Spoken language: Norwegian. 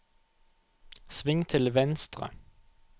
sving til venstre